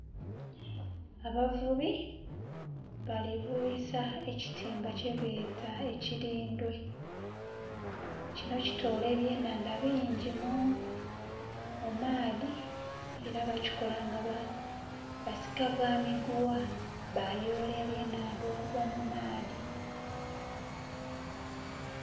Abavubi balivubisa ekitimba kyebeta ekirindwe kino kitola ebye enhandha bingi mumaadhi era bakikola nga basika gha miguwa bayoola ebye enhandha okuva mumaadhi.